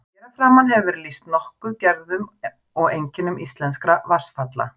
Hér að framan hefur verið lýst nokkuð gerðum og einkennum íslenskra vatnsfalla.